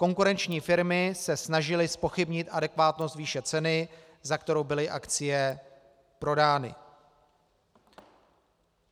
Konkurenční firmy se snažily zpochybnit adekvátnost výše ceny, za kterou byly akcie prodány.